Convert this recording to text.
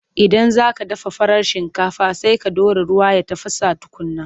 Idan za ka dafa farar shinkafa, sai ka ɗora ruwa ya tafasa tukunna.